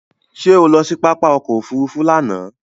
Ṣé o lọ sí pápá ọkọ òfúrúúfú lánàá?